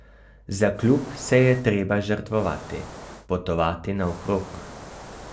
Za klub se je treba žrtvovati, potovati naokrog.